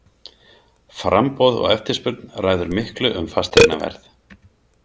Framboð og eftirspurn ræður miklu um fasteignaverð.